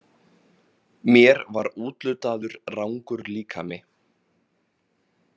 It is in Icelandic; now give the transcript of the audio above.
Mér var úthlutaður rangur líkami.